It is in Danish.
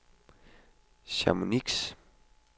Chamonix